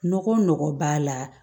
Nɔgɔ nɔgɔ b'a la